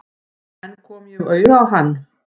En kom ég auga á hann?